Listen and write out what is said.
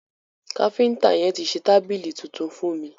Káfínta yẹn ti ṣe tábìlì tuntun fún mi.